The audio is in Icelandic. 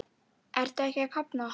Ertu ekki að kafna?